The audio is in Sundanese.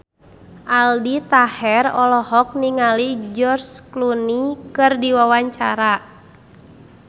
Aldi Taher olohok ningali George Clooney keur diwawancara